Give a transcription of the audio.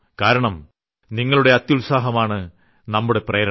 കാരണം നിങ്ങളുടെ അത്യുത്സാഹമാണ് നമ്മുടെ പ്രേരണ